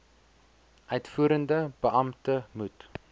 uitvoerende beampte moet